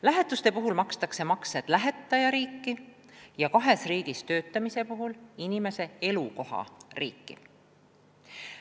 Lähetuste puhul makstakse makse lähetajariiki ja kahes riigis töötamise puhul inimese elukohariiki.